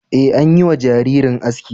Ee, an yi wa jaririn aski.